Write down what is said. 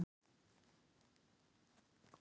Valdheiður, bókaðu hring í golf á mánudaginn.